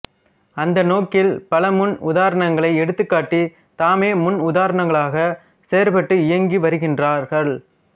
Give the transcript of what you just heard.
அந்நோக்கில் பல முன் உதாரணங்களை எடுத்துக்காட்டி தாமே முன் உதாரணங்களாக செயற்பட்டு இயங்கி வருகின்றார்கள்